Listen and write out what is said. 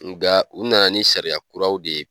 Nga u na na ni sariya kuraw de ye.